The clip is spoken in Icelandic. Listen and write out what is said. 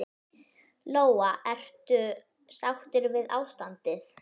Lóa: Ertu sáttur við ástandið?